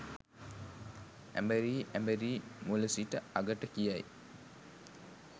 ඇඹරි ඇඹරී මුල සිට අගට කියයි.